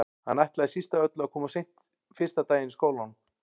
Hann ætlaði síst af öllu að koma of seint fyrsta daginn í skólanum.